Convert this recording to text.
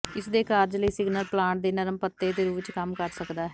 ਇਸਦੇ ਕਾਰਜ ਲਈ ਸਿਗਨਲ ਪਲਾਂਟ ਦੇ ਨਰਮ ਪੱਤੇ ਦੇ ਰੂਪ ਵਿੱਚ ਕੰਮ ਕਰ ਸਕਦਾ ਹੈ